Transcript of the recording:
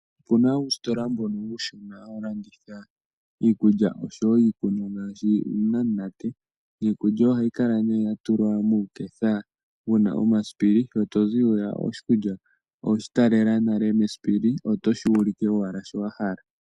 Opuna uusitola mbono uushona ha wu landitha iikulya oshowo iikunwa ngaashi iinamunate niikulya oha yi kala nee yatulwa muuketha wu na omasipili, shi tozi hwiya oweshi talela nale mesipili oto shi ulike owala shi wa hala.